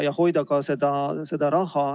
Ta üritab raha hoida.